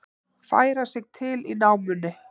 Færa sig til í námunni